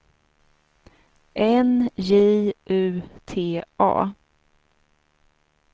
N J U T A